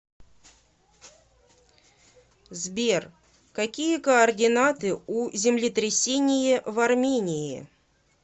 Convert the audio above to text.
сбер какие координаты у землетрясение в армении